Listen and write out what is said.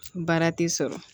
Baara tɛ sɔrɔ